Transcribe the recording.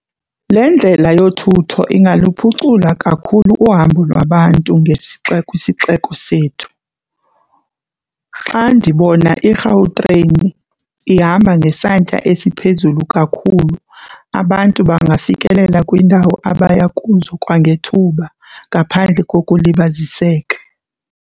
Le ndlela yothutho ingaluphucula kakhulu uhambo lwabantu ngesixeko kwisixeko sethu. Xa ndibona iGautrain ihamba ngesantya esiphezulu kakhulu, abantu bangafikelela kwiindawo abaya kuzo kwangethuba ngaphandle kokulibaziseka.